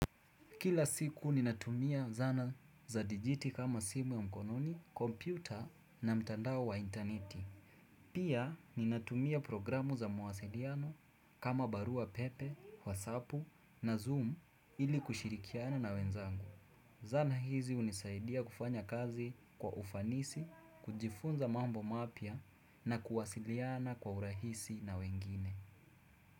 Kila siku ni natumia zana za dijiti kama simu ya mkononi, kompyuta na mtandao wa interneti. Pia ni natumia programu za mawasiliano kama barua pepe, wasapu na zoom ili kushirikiana na wenzangu. Zanaa hizi unisaidia kufanya kazi kwa ufanisi, kujifunza mambo mapya na kuwasiliana kwa urahisi na wengine.